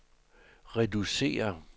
reducere